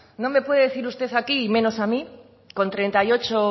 no me puede decir usted aquí y menos a mí con treinta y ocho